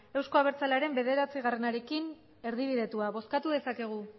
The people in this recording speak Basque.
euzko abertzalearen bederatziarekin erdibidetua bozkatu dezakegu